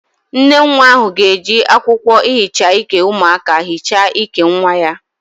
Nnenwa ahu ga-eji akwokwo ihicha Ike umuaka hicha Ike nwa ya